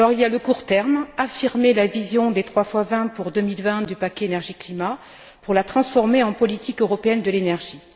Il y a le court terme affirmer la vision des trois fois vingt pour 2020 du paquet énergie climat pour la transformer en politique européenne de l'énergie.